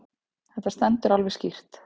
Þetta stendur alveg skýrt.